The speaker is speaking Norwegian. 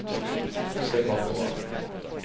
se bakover